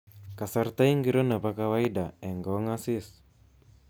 Kasarta ingiro nebo kawaida eng kongasis